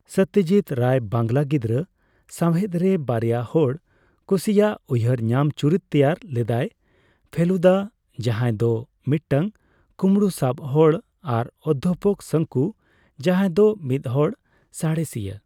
ᱥᱚᱛᱛᱚᱡᱤᱛ ᱨᱟᱭ ᱵᱟᱝᱞᱟ ᱜᱤᱫᱨᱟᱽ ᱥᱟᱸᱣᱦᱮᱫ ᱨᱮ ᱵᱟᱨᱭᱟ ᱦᱚᱲ ᱠᱩᱥᱤᱭᱟᱜ ᱩᱭᱦᱟᱹᱨ ᱧᱟᱢ ᱪᱩᱨᱤᱛ ᱛᱮᱭᱟᱨ ᱞᱮᱫᱟᱭ ᱼ ᱯᱷᱮᱞᱩᱫᱟ, ᱡᱟᱸᱦᱟᱭ ᱫᱚ ᱢᱤᱫᱴᱟᱝ ᱠᱩᱢᱲᱩ ᱥᱟᱵ ᱦᱚᱲ ᱟᱨ ᱚᱫᱫᱷᱟᱯᱚᱠ ᱥᱚᱝᱠᱩ, ᱡᱟᱸᱦᱟᱭ ᱫᱚ ᱢᱤᱫᱦᱚᱲ ᱥᱟᱸᱲᱮᱥᱤᱭᱟᱹ ᱾